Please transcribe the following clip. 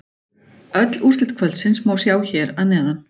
Öll úrslit kvöldsins má sjá hér að neðan